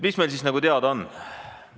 Mis meil siis nagu teada on?